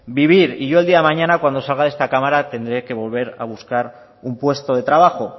vivir y yo el día de mañana cuando salga de esta cámara tendré que volver a buscar un puesto de trabajo